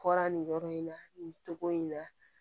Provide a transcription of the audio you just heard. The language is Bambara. Fɔra nin yɔrɔ in na nin togo in na